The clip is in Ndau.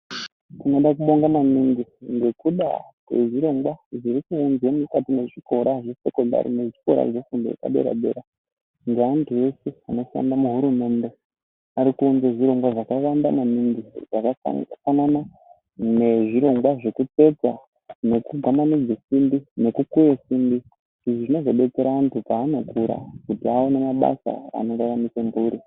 Tinoda kubonga maningi ngekuda kwezvirongwa zviri kuuzwa mukati mwezvikora zvesekondari nezvikora zvefundo yepadera dera, neandu eshe anokwana muhurumende ari kuunza zvirongwa zvakawanda maningi zvakafanana nezvirongwa zvakaita sekutsetsa, nekugwamanidza simbi nekukweya simbi, izvi zvinozobetsera anhu paanokura kuti awane mabasa anoraramise mhuri.